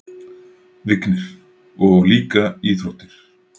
Vignir: Og líka íþróttir.